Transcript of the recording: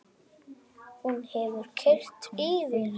Hún hefur keyrt yfir hann!